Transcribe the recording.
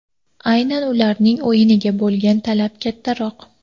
Aynan ularning o‘yiniga bo‘lgan talab kattaroq.